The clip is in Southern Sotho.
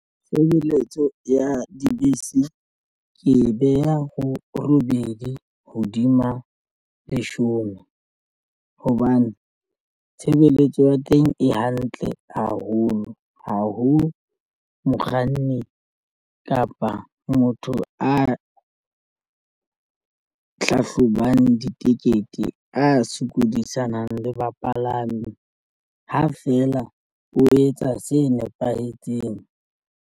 Tshebeletso ya dibese ke e beha ho robedi hodima leshome hobane tshebeletso ya teng e hantle haholo. Ha ho mokganni kapa motho a hlahlobang ditekete a sokodisanang le bapalami ha fela o etsa se nepahetseng